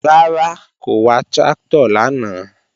Rárá, kò wa tráktọ̀ lánàá